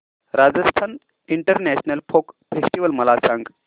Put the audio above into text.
Rajasthan international folk festival मला सांग